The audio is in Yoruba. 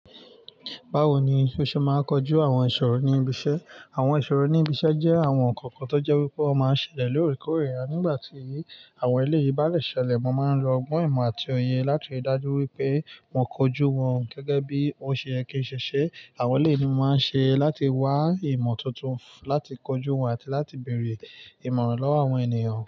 Bawo ni oṣe máa ń kojú àwọn ìṣòro ní ibi-iṣẹ́? Àwọn ìṣòro ní ibi-iṣẹ́ jẹ́ àwọn nǹkan kan tó jẹ́ pé wọ́n máa ń ṣẹlẹ̀ lóòrèkóòrè. Nígbà tí àwọn ẹlẹ́yìí bá rẹ́ ṣẹlẹ̀, mo máa ń lo ọgbọ́n ìmọ̀ àti oye láti rí i dájú pé mo kojú wọn gẹ́gẹ́ bí ó ṣe yẹ kí ń ṣẹṣẹ. Àwọn ẹlẹ́yìí ni mo máa ń ṣe láti wá ìmọ̀ tuntun láti kojú wọn àti láti bèrè ìmọ̀ràn lọ́wọ́ àwọn ènìyàn.